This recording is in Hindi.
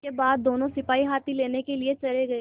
इसके बाद दोनों सिपाही हाथी लेने के लिए चले गए